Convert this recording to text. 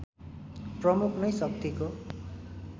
प्रमुख नै शक्तिको